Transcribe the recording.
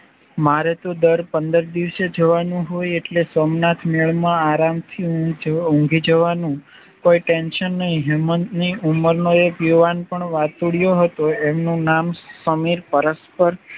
મારે તો દર પંદર દિવસે જવાનું હોય એટલે સોમનાથ મેલમાં આરામથી ઉંધી જવાનું કોઈ ટેન્શન નઈ હેમંતની ઉમરનો એક યુવાન પણ વાતુડિયો હતો એમનું નામ સમીર પરસ્પર